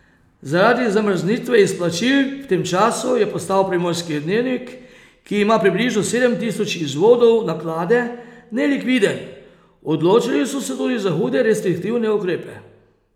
Zaradi zamrznitve izplačil v tem času je postal Primorski dnevnik, ki ima približno sedem tisoč izvodov naklade, nelikviden, odločili so se tudi za hude restriktivne ukrepe.